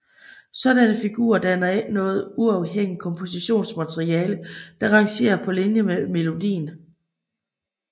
Sådanne figurer danner ikke noget uafhængigt kompositionsmateriale der rangerer på linje med melodien